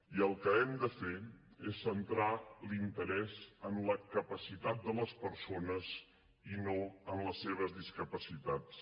i el que hem de fer és centrar l’interès en la capacitat de les persones i no en les seves discapacitats